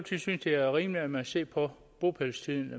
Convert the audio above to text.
synes det er rimeligt at man ser på bopælstiden